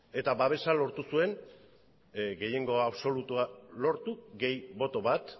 eta babesa lortu zuen gehiengo absolutua lortu gehi boto bat